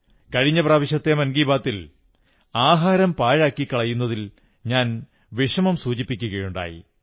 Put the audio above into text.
കഴിഞ്ഞ പ്രാവശ്യത്തെ മൻ കീ ബാത്തിൽ ആഹാരം പാഴാക്കി കളയുന്നതിൽ ഞാൻ വിഷമം സൂചിപ്പിക്കയുണ്ടായി